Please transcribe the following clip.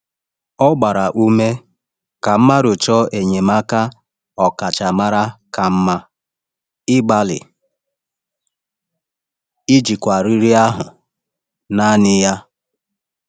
Ọ gbara ume ka mmadụ chọọ enyemaka ọkachamara kama ịgbalị ijikwa riri ahụ naanị ya.